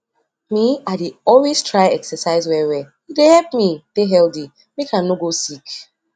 me i dey always try exercise well well e dey help me dey healthy make i no go sick